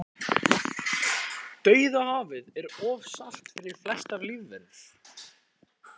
dauðahafið er of salt fyrir flestar lífverur